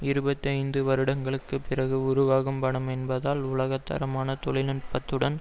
இருபத்தி ஐந்து வருடங்களுக்கு பிறகு உருவாகும் படம் என்பதால் உலகத்தரமான தொழில் நுட்பத்துடன்